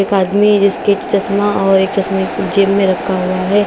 एक आदमी जिसके चश्मा और एक चश्मे को जेब में रखा हुआ है।